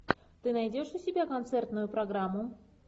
ты найдешь у себя концертную программу